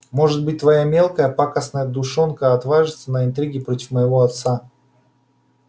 может быть твоя мелкая пакостная душонка отважилась на интриги против моего отца